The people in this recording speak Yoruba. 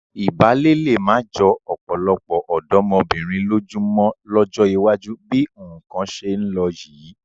Ìbálé lé má jọ ọ̀pọ̀lọpọ̀ ọ̀dọ́mọbìnrin lójú mọ́ lọ́jọ́ iwájú bí nǹkan ṣe ń lọ yìí.